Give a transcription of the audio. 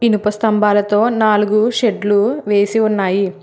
ఇనుప స్తంభాలతో నాలుగు షెడ్లు వేసి ఉన్నాయి.